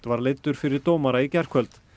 var leiddur fyrir dómara í gærkvöld